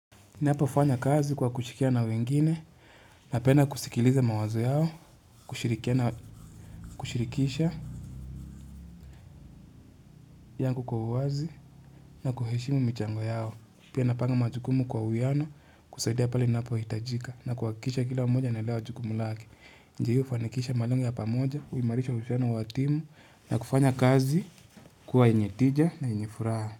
Napofanya kazi kwa kushirikiana na wengine napenda kusikiliza mawazo yao, kushirikisha yangu kwa uwazi na kuheshimu michango yao. Pia napanga majukumu kwa uyano kusaidia pale ninapohitajika na kuhakikisha kila mmoja anaelewa jukumu lake. Je hiyo hufanikisha malengo ya pamoja, huimarisha uhusiano wa timu na kufanya kazi kwa yenye tija na yenye furaha.